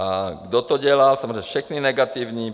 A kdo to dělá, samozřejmě všechny negativní?